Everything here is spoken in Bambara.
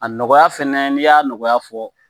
A nɔgɔya fana n'i y'a nɔgɔya fɔ